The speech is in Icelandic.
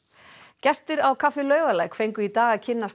gestir á kaffi Laugalæk fengu í dag að kynnast